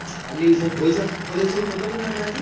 କାଲିକି ସବୁ ପଇସା collection କରିଦଉନୁ ତାହେଲେ ଆଜିକି?